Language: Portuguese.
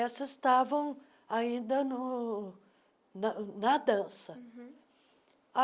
Essas estavam ainda no na na dança. uhum